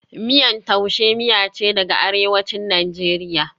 Miyan Tuase miya ce daga Arewacin Najeriya,